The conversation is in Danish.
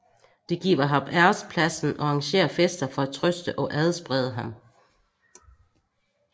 De giver ham ærespladsen og arrangerer fester for at trøste og adsprede ham